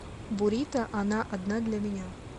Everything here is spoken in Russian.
бурито она одна для меня